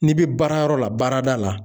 N'i bɛ baarayɔrɔ la baarada la